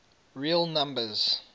real numbers